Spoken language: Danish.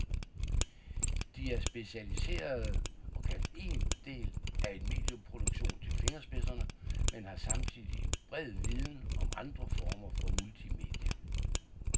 De er specialiserede og kan én del af en medieproduktion til fingerspidserne, men har samtidig en bred viden om andre former for multimedier.